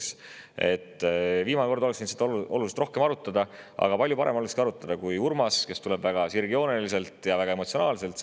Viimane kord oleks võinud seda oluliselt rohkem arutada, aga palju parem olekski olnud arutada siis, kui oleks tulnud Urmas, kes räägib sellest teemast väga sirgjooneliselt ja väga emotsionaalselt.